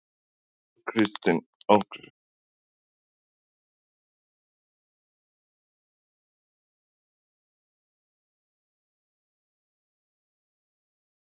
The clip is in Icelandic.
Þóra Kristín Ásgeirsdóttir: Óttastu að Seðlabankinn þurfi að skrúfa upp vextina beinlínis vegna þessa?